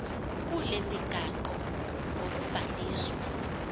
kule migaqo ngokubhaliswa